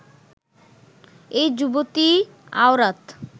এই যুবতী আওরাত